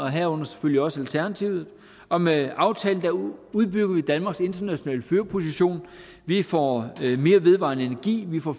herunder selvfølgelig også alternativet og med aftalen udbygger vi danmarks internationale førerposition vi får mere vedvarende energi vi får